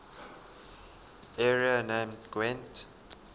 area named gwent